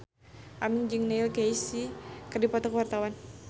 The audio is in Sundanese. Aming jeung Neil Casey keur dipoto ku wartawan